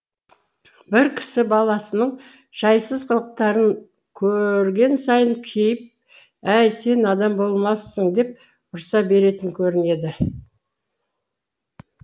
бір кісі баласының жайсыз қылықтарын көрген сайын кейіп әй сен адам болмассың деп ұрса беретін көрінеді